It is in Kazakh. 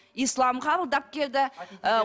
ислам қабылдап келді ы